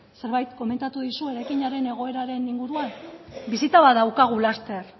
zerbait komentatu dizu eraikinaren egoeraren inguruan bisita bat daukagu laster